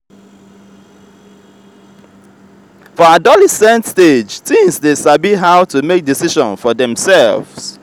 for adolescent stage teens de sabi how to make decision for themselve